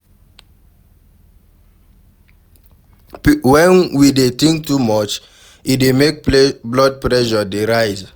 When we dey think too much e dey make blood pressure dey rise